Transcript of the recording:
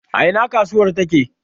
A ina kasuwar take?